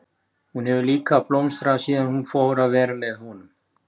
Hún hefur líka blómstrað síðan hún fór að vera með honum.